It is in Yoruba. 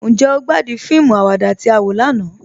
Njẹ́ o gbàdún fíìmù àwàdà tí a wọ lànà?